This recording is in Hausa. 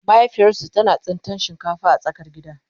mahaifiyarsu tana tsintan shinkafa a tsakar gida